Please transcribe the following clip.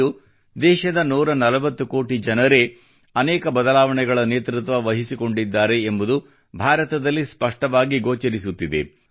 ಇಂದು ದೇಶದ 140 ಕೋಟಿ ಜನರೇ ಅನೇಕ ಬದಲಾವಣೆಗಳ ನೇತೃತ್ವ ವಹಿಸಿಕೊಂಡಿದ್ದಾರೆ ಎಂಬುದು ಭಾರತದಲ್ಲಿ ಸ್ಪಷ್ಟವಾಗಿ ಗೋಚರಿಸುತ್ತಿದೆ